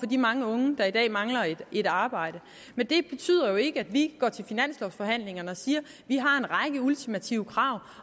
de mange unge der i dag mangler et arbejde men det betyder jo ikke at vi går til finanslovforhandlingerne og siger vi har en række ultimative krav